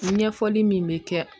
Ɲɛfɔli min bɛ kɛ